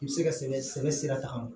I bɛ se ka sɛbɛn sɛbɛ sira ta